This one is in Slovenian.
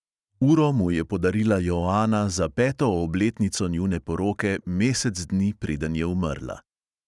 Uro mu je podarila joana za peto obletnico njune poroke mesec dni, preden je umrla.